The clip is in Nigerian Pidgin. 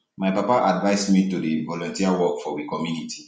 my papa advice um me to dey do volunteer um work for we community